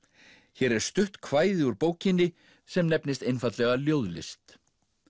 hér er stutt kvæði úr bókinni sem nefnist einfaldlega ljóðlist